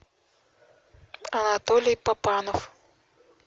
анатолий папанов